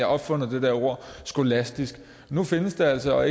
opfundet det der ord skolastisk nu findes det altså